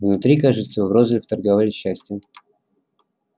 внутри кажется в розлив торговали счастьем